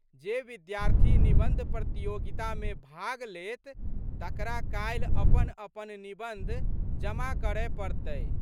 जे विद्यार्थी निबंध प्रतियोगितामे भाग लेत तकरा काल्हि अपनअपन निबंध जमा करए पड़तै।